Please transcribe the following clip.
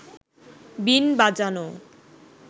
বীণ বাজানো